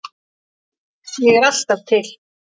Ég er alltaf til.